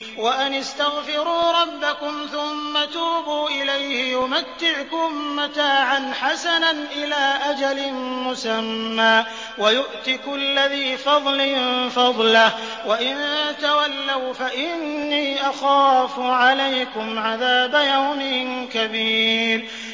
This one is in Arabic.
وَأَنِ اسْتَغْفِرُوا رَبَّكُمْ ثُمَّ تُوبُوا إِلَيْهِ يُمَتِّعْكُم مَّتَاعًا حَسَنًا إِلَىٰ أَجَلٍ مُّسَمًّى وَيُؤْتِ كُلَّ ذِي فَضْلٍ فَضْلَهُ ۖ وَإِن تَوَلَّوْا فَإِنِّي أَخَافُ عَلَيْكُمْ عَذَابَ يَوْمٍ كَبِيرٍ